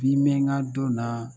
Ni min ka dɔn na.